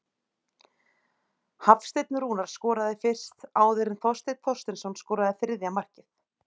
Hafsteinn Rúnar skoraði fyrst áður en Þorsteinn Þorsteinsson skoraði þriðja markið.